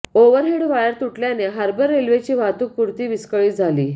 overhead wire तुटल्याने harbour रेल्वेची वाहतूक पुरती विस्कळीत झाली